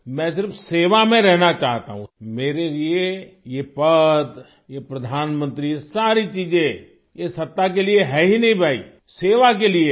मैं सिर्फ सेवा में रहना चाहता हूँ मेरे लिए ये पद ये प्रधानमंत्री सारी चीजें ये सत्ता के लिए है ही नहीं भाई सेवा के लिए है